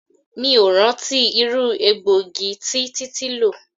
3. Mi o rántí irú egbògi tí títí lò.